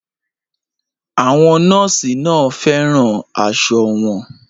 Àwọn nọ́ọ̀sì náà fẹ́ràn aṣọ wọn